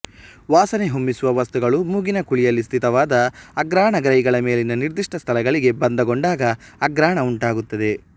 ವಾಸನೆ ಹೊಮ್ಮಿಸುವ ವಸ್ತುಗಳು ಮೂಗಿನ ಕುಳಿಯಲ್ಲಿ ಸ್ಥಿತವಾದ ಆಘ್ರಾಣ ಗ್ರಾಹಿಗಳ ಮೇಲಿನ ನಿರ್ದಿಷ್ಟ ಸ್ಥಳಗಳಿಗೆ ಬಂಧಗೊಂಡಾಗ ಆಘ್ರಾಣ ಉಂಟಾಗುತ್ತದೆ